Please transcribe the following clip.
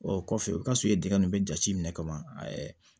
O kɔfɛ o ka sɔrɔ i ye dingɛ nunnu jate minɛ ka ban